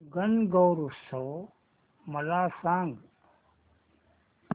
गणगौर उत्सव मला सांग